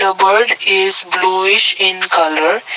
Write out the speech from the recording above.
the bird is bluish in colour.